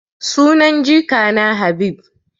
Sunan jikana Habib.